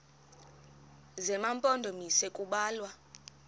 zema mpondomise kubalwa